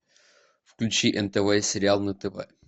включи нтв сериал на тв